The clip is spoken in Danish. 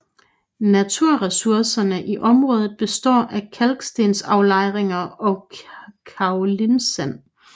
Naturressourcerne i området består af kalkstensaflejringer og kaolinsand